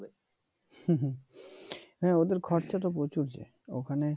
হ্যাঁ ওদের খরচা তো প্রচুর যে ওখানে